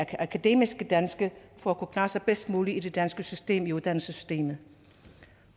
akademiske danske for at kunne klare sig bedst muligt i det danske system i uddannelsessystemet